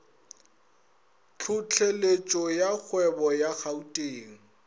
tlhohleletšo ya kgwebo ya gauteng